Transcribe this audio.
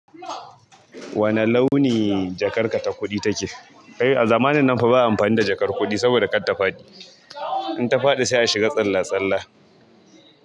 Wane launi jakar ka ta kuɗi take? A zamanin nan fa ba amfani da jakar kuɗi saboda kar ta faɗi. In ta faɗi sai a shiga tsalla-tsalla.